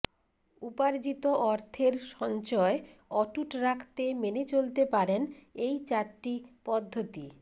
উপার্জিত অর্থের সঞ্চয় অটুট রাখতে মেনে চলতে পারেন এই চারটি পদ্ধতি